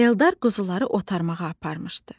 Eldar quzuları otarmağa aparmışdı.